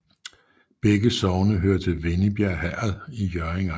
Begge sogne hørte til Vennebjerg Herred i Hjørring Amt